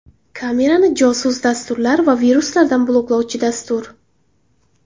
Kamerani josus dasturlar va viruslardan bloklovchi dastur.